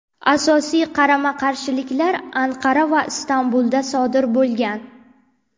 Asosiy qarama-qarshiliklar Anqara va Istanbulda sodir bo‘lgan.